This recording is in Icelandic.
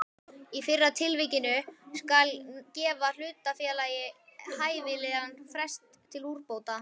Í fyrra tilvikinu skal gefa hlutafélagi hæfilegan frest til úrbóta.